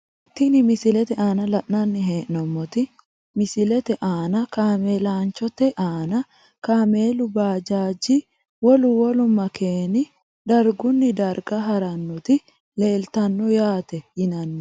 Tini misilete aana la`nani heenomoti misilete aana kaamelanchote aana kamelu baajaji wolu wolu makeeni darguni darga haranoti leeltano yaate yinani.